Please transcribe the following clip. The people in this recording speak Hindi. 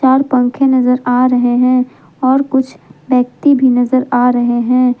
और पंखे नजर आ रहे है और कुछ व्यक्ति भी नजर आ रहे हैं।